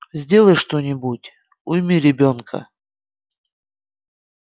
сделай что-нибудь уйми ребёнка